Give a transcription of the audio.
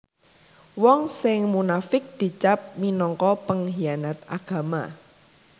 Wong sing munafiq dicap minangka penghianat agama